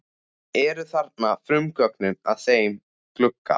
Eru þarna frumgögnin að þeim glugga.